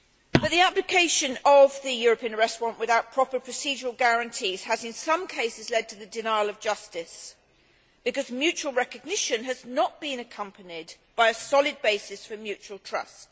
But the application of the European Arrest Warrant without proper procedural guarantees has, in some cases, led to the denial of justice, because mutual recognition has not been accompanied by a solid basis for mutual trust.